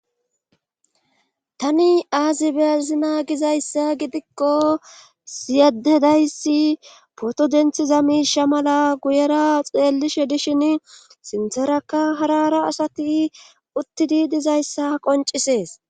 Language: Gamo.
Tani aazi beezina gizayssa gidikko siyadedayssi poto denthiza miisha mala guyera xeellishe dishin sintheraka harara asati uttidi dizayssa qoncisees.